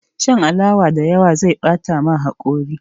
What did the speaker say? Shan alawa da yawa zai bata ma haƙori